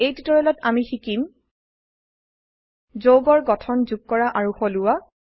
এই টিউটোৰিয়েলত আমি শিকিম যৌগৰ গঠন যোগ কৰা আৰু সলোৱা